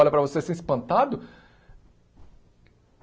Olha para você assim espantado.